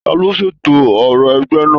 Taló ṣètò òrò ẹgbẹ náà?